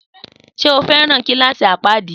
Sé o feran kilasi apadi?